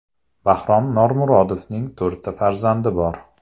Bahrom Normurodovning to‘rtta farzandi bor.